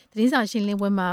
သတင်းစာရှင်းလင်းပွဲမှ